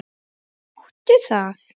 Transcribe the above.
Máttu það?